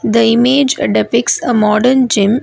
the image depicts a modern gym.